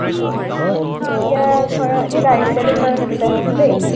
অ, এতিয়া ধৰা, এতিয়া direct selling market লে আহিছো দেই।